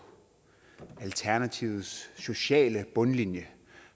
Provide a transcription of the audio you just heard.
alternativets sociale bundlinje